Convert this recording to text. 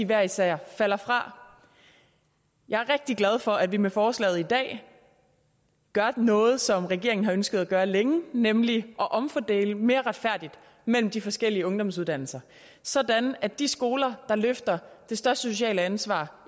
hver især falder fra jeg er rigtig glad for at vi med forslaget i dag gør noget som regeringen har ønsket at gøre længe nemlig at omfordele mere retfærdigt mellem de forskellige ungdomsuddannelser sådan at de skoler der løfter det største sociale ansvar